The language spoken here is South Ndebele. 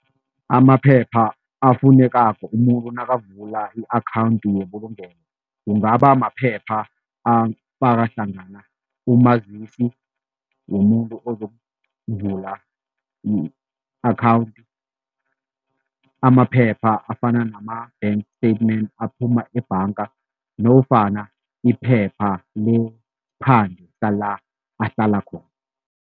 Amaphepha afunekako umuntu nakavula i-akhawundi yebulungelo kungaba maphepha afaka hlangana umazisi womuntu ozokuvula i-akhawundi, amaphepha afana nama-bank statement aphuma ebhanga nofana iphepha lesiphande sala ahlala khona.